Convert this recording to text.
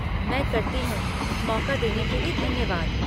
मैं करती हूँ, मौक़ा देने के लिए धन्यवाद!